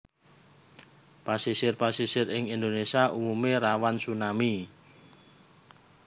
Pasisir pasisir ing Indonesia umume rawan tsunami